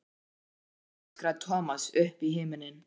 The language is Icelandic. Þeir ná mér aldrei! öskraði Thomas upp í himininn.